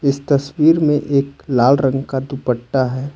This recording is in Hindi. तस्वीर में एक लाल रंग का दुपट्टा है ।